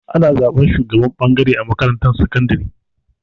Ana zaɓan shugaban ɓangare a makarantar sakandari.